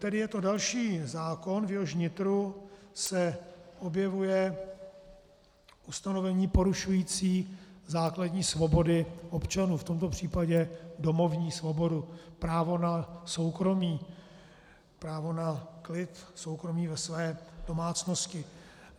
Tedy je to další zákon, v jehož nitru se objevuje ustanovení porušující základní svobody občanů, v tomto případě domovní svobodu, právo na soukromí, právo na klid, soukromí ve své domácnosti.